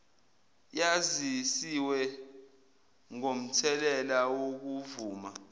yazisiwe ngomthelela wokuvuma